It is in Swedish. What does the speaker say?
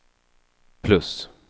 plus